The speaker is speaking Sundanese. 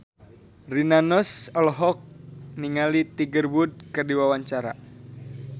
Rina Nose olohok ningali Tiger Wood keur diwawancara